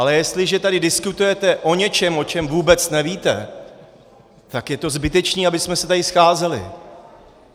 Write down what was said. Ale jestliže tady diskutujete o něčem, o čem vůbec nevíte, tak je to zbytečné, abychom se tady scházeli.